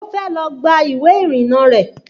Ó fẹ́ lọ gba ìwé ìrìnnà rẹ̀